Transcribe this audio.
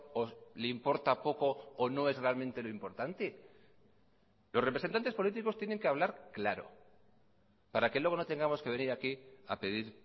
o le importa poco o no es realmente lo importante los representantes políticos tienen que hablar claro para que luego no tengamos que venir aquí a pedir